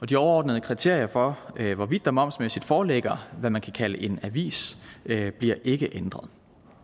de overordnede kriterier for hvorvidt der momsmæssigt foreligger det man kan kalde en avis bliver ikke ændret